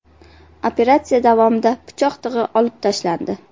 Operatsiya davomida pichoq tig‘i olib tashlandi.